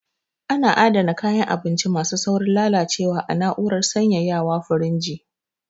A na adana kayan abinci ma su saurin lalacewa a na'urar sanyaya wa(firinji)